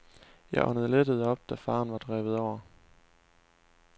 Jeg åndede lettet op da faren var drevet over.